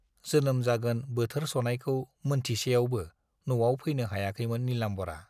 जोनोम जागोन बोथोर सनायखौ मोनथिसेयावबो न'आव फैनो हायाखैमोन नीलाम्बरआ।